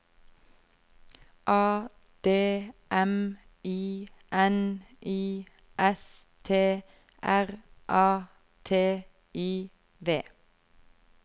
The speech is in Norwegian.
A D M I N I S T R A T I V